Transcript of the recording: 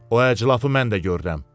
O əclafı mən də görürəm.